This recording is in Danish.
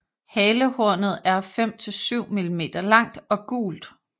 Halehornet er 5 til 7 mm langt og gult